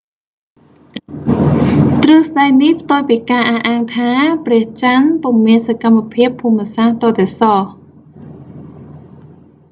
ទ្រឹស្ដីនេះផ្ទុយពីការអះអាងថា ព្រះចន្ទពុំមានសកម្មភាពភូមិសាស្ត្រទាល់តែសោះ